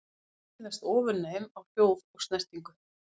Dýrin virðast vera ofurnæm á hljóð og snertingu.